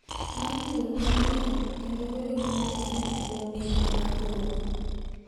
Mar nyuol manyien kendo bedo manyien kuom higni mathoth,